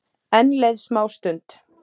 Enn leið smástund.